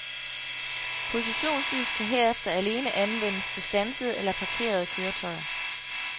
Positionslys kan herefter alene anvendes på standsede eller parkerede køretøjer.